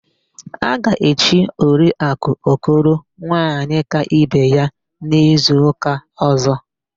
A ga-echi Oriakụ Okoro Nwaanyịkaibeya n'izuụka ọ̀zọ́.